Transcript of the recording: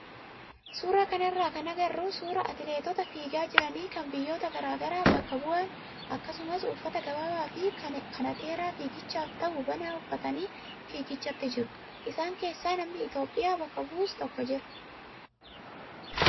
Suuraa kanarraa kan agarru suuraa atileetota fiigaa jiranii kan biyyoota garaagaraa bakka bu'an akkasuma uffata gabaabaa fi kanateeraa fiigichaaf ta'u banaa uffatanii fiigichatti jiru. Isaan keessaa namni Itoophiyaa bakka bu'us tokko jira.